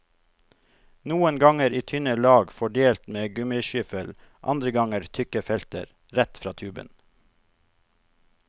Noen ganger i tynne lag fordelt med gummiskyffel, andre ganger tykke felter, rett fra tuben.